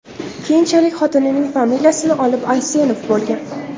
Keyinchalik, xotinining familiyasini olib, Aysenov bo‘lgan.